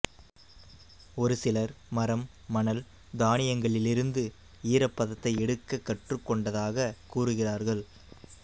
ஒருசிலர் மரம் மணல் தானியங்களிலிருந்து ஈரப்பதத்தை எடுக்கக் கற்றுக்கொண்டதாகக் கூறுகிறார்கள்